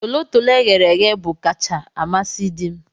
Tolotolo eghere eghe bu kacha amasi dim